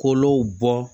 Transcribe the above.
Kolow bɔ